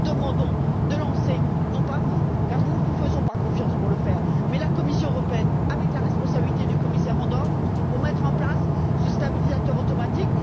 Nous vous demandons de lancer, non pas vous, car nous ne vous faisons pas confiance pour le faire, mais la Commission européenne, sous la responsabilité du commissaire Andor, la mise en place de ce stabilisateur automatique.